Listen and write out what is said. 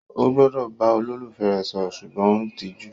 O gbọdọ bá olólùfẹ́ rẹ sọ̀rọ̀ sùgbọ́n o n tijú?